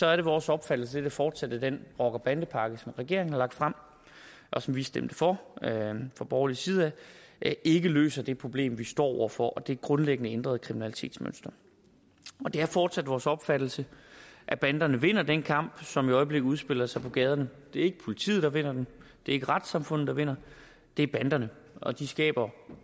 er vores opfattelse at fortsætte den rocker og bandepakke som regeringen har lagt frem og som vi stemte for fra borgerlig side ikke løser det problem som vi står over for og det grundlæggende ændrede kriminalitetsmønster det er fortsat vores opfattelse at banderne vinder den kamp som i øjeblikket udspiller sig på gaderne det er ikke politiet der vinder den det ikke retssamfundet der vinder det er banderne og de skaber